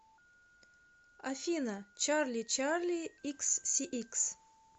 афина чарли чарли икссиикс